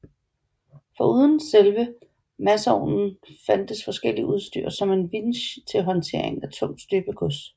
Foruden selve masovnen fandtes forskelligt udstyr som en vinsj til håndtering af tungt støbegods